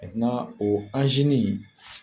o anzini in